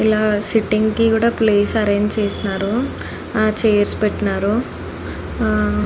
ఇలా సెట్టింగ్ కూడా place arrange చేసినారు చైర్స్ కూడా పెట్టినారు ఆ --